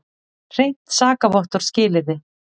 Hreint sakavottorð skilyrði.